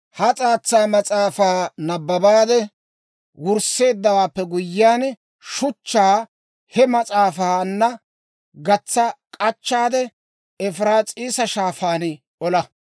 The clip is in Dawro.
Ha s'aatsa mas'aafaa nabbabaade wursseeddawaappe guyyiyaan, shuchchaa he mas'aafaanna gatsa k'achchaade, Efiraas'iisa Shaafaan olaa.